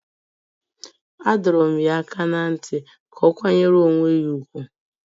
A dọrọ m ya aka ná ntị ka ọ kwanyere onwe ya ùgwù